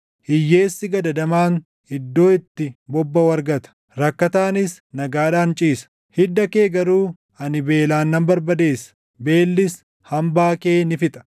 Hiyyeessi gadadamaan iddoo itti bobbaʼu argata; rakkataanis nagaadhaan ciisa. Hidda kee garuu ani beelaan nan barbadeessa; beellis hambaa kee ni fixa.